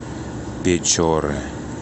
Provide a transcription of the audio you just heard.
печоры